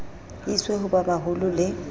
iswe ho ba baholo le